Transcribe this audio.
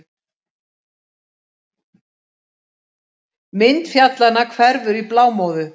Mynd fjallanna hverfur í blámóðu.